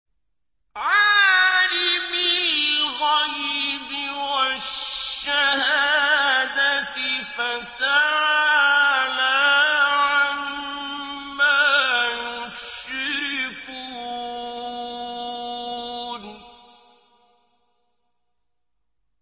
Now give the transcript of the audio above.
عَالِمِ الْغَيْبِ وَالشَّهَادَةِ فَتَعَالَىٰ عَمَّا يُشْرِكُونَ